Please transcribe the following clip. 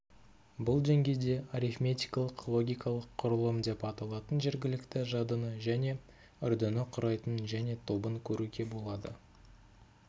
бұл деңгейде арифметикалық-логикалық құрылым деп аталатын жергілікті жадыны және үрдіні құрайтын және тобын көруге болады